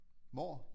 Hvor